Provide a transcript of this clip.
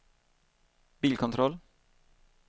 bilkontroll